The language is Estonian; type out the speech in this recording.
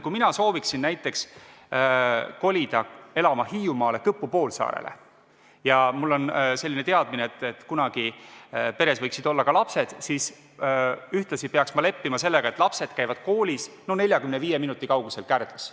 Kui mina sooviksin kolida elama Hiiumaale Kõpu poolsaarele ja mul on selline teadmine, et kunagi võiksid peres olla ka lapsed, siis ühtlasi peaks ma leppima sellega, et lapsed käivad koolis 45 minuti kaugusel Kärdlas.